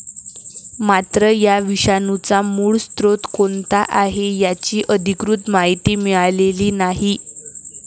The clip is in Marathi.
मात्र, या विषाणूचा मूळ स्रोत कोणता आहे, याची अधिकृत माहिती मिळालेली नाही.